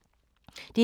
DR2